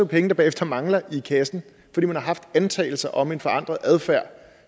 penge der bagefter mangler i kassen fordi man har haft antagelser om en forandret adfærd